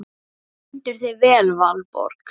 Þú stendur þig vel, Valborg!